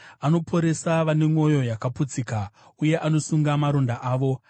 Anoporesa vane mwoyo yakaputsika, uye anosunga maronda avo.